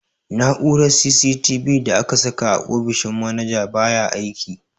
Na'urar CCTV da aka saka a ofishin manaja baya aiki.